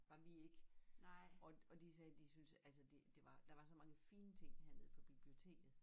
Var vi ik og de sagde de synes altså det det var der var så mange fine ting hernede på biblioteket